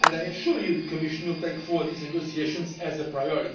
and I assure you the Commission will take forward these negotiations as a